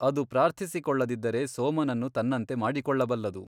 ಅದು ಪ್ರಾರ್ಥಿಸಿಕೊಳ್ಳದಿದ್ದರೆ ಸೋಮನನ್ನು ತನ್ನಂತೆ ಮಾಡಿಕೊಳ್ಳಬಲ್ಲದು.